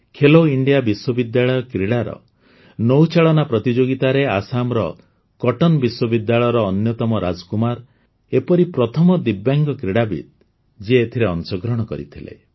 Khelo India ବିଶ୍ୱବିଦ୍ୟାଳୟ କ୍ରୀଡ଼ାର ନୌଚାଳନା ପ୍ରତିଯୋଗିତାରେ ଆସାମର କଟନ୍ ବିଶ୍ୱବିଦ୍ୟାଳୟର ଅନ୍ୟତମ ରାଜକୁମାର ଏପରି ପ୍ରଥମ ଦିବ୍ୟାଙ୍ଗ କ୍ରୀଡ଼ାବିତ୍ ଯିଏ ଏଥିରେ ଅଂଶଗ୍ରହଣ କରିଥିଲେ